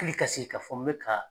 Hali ka sigi ka fɔ n bɛ ka